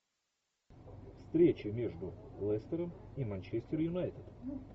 встреча между лестером и манчестер юнайтед